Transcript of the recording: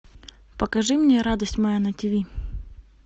покажи мне радость моя на тиви